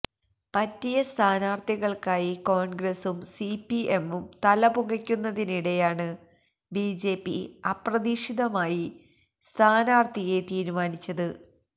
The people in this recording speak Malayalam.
പറ്റിയ സ്ഥാനാർത്ഥികൾക്കായി കോൺഗ്രസും സിപിഎമ്മും തലപുകയ്ക്കുന്നതിനിടെയാണ് ബിജെപി അപ്രതീക്ഷിതമായി സ്ഥാനാർത്ഥിയെ തീരുമാനിച്ചത്